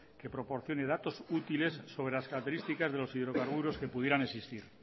que proporcione datos útiles sobre las características de los hidrocarburos que pudieran existir